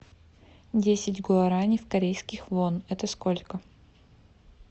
десять гуарани в корейских вон это сколько